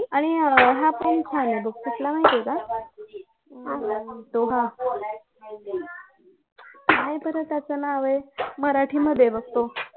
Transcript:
आणि हा पण छान आहे बघ कुठला माहित आहे का हम्म तो हा काय बरं त्याचं नाव आहे मराठी मध्ये आहे बघ तो